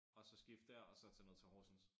Og så skifte dér og så tage ned til Horsens